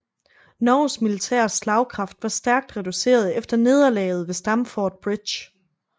Norges militære slagkraft var stærkt reduceret efter nederlaget ved Stamford Bridge